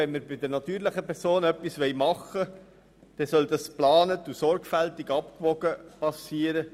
Wenn wir bei den natürlichen Personen etwas ändern wollen, dann soll dies in geplanter und sorgfältig abgewogener Form geschehen.